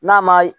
N'a ma